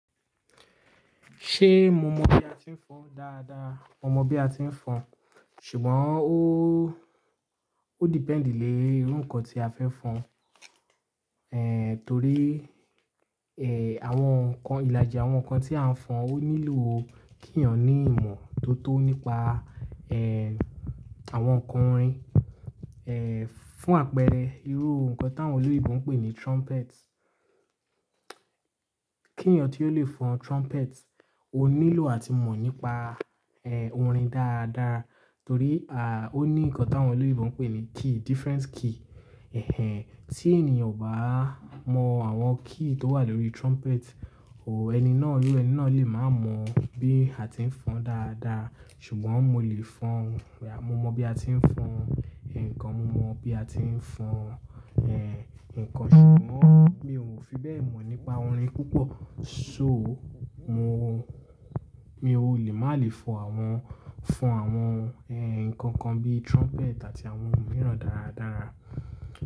Ṣé mo mọ bí a ti ń fọn dáadáa? Mo mọ bí a ti ń fọn, ṣùgbọ́n ó, ó depend le irú nǹkan tí a fẹ́ fọn. Torí àwọn nǹkan, ìlàjì àwọn nǹkan tí a ń fọn ó nílò kí èèyàn ní ìmọ̀ tó tó nípa àwọn nǹkan orin. Fún àpẹẹrẹ irú nǹkan táwọn olóyè ibọn pé ní trumpet. Kí ọ̀nì tí ó lè fọn trumpet ó nílò à ti mọ̀ nípa orin dáadáa. Torí a ó ní nǹkan táwọn olóyinbo n pé ní key, different key. Tí ènìyàn o bá mọ àwọn key tó wà lórí trumpet, òó ẹni náà, irú ẹni náà lè má mọ bí a ti ń fọn dáadáa. Ṣùgbọ́n mo lè fọn, mo mọ bí a ti ń fọn nǹkan, mo mọ bí a ti ń fọn nǹkan ṣùgbọ́n mi ò fi bẹ́ẹ̀ mọ̀ nípa orin púpọ̀. So mo, mi ò lè má lè fọn àwọn, fọn àwọn nǹkan kan bí trumpet àti àwọn mìíràn dáradára.